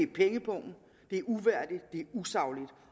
pengepungen det er uværdigt det er usagligt